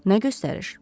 Nə göstəriş?